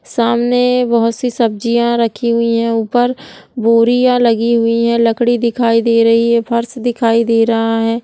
सामने बहोत सी सब्जियां रखी हुई हैं ऊपर बोरिया लगि हुई है। लकड़ी दिखाई दे रही है फर्श दिखाई दे रहा है ।